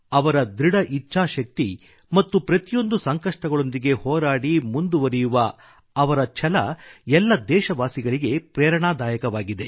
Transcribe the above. ಅವರ ದೃಢ ಇಚ್ಛಾಶಕ್ತಿ ಮತ್ತು ಪ್ರತಿಯೊಂದು ಸಂಕಷ್ಟಗಳೊಂದಿಗೆ ಹೋರಾಡಿ ಮುಂದುವರಿಯುವ ಅವರ ಛಲ ಎಲ್ಲ ದೇಶವಾಸಿಗಳಿಗೆ ಪ್ರೇರಣಾದಾಯಕವಾಗಿದೆ